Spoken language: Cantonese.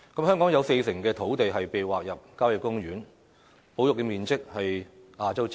香港有四成土地被劃入郊野公園，保育面積比例是亞洲之冠。